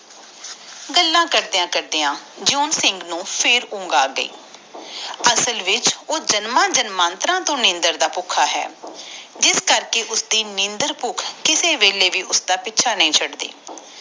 ਗੱਲਾਂ ਕਰਦਿਆਂ ਕਰਦਿਆਂ ਜਿਉਂ ਸਿੰਘ ਨੂੰ ਫੇਰ ਨੀਂਦ ਆ ਗਯੀ ਦਰ੍ਸਾਲ ਉਹ ਜਮਨਾ ਜਮੰਤ੍ਰ ਤੋਂ ਨੀਂਦਰ ਦਾ ਭੁੱਖਾ ਆ ਜਿਸ ਕਰਕੇ ਓਹਦੀ ਨੀਂਦਰ ਭੁੱਖ ਓਹਦਾ ਪਿੱਛਾ ਨੀ ਛੱਡ ਦੇ ਕਿਸੇ ਵੇਲੇ ਵੀ ਆ ਜਾਂਦੇ ਆ